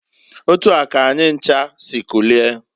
Otua k'anyi ncha si kulie.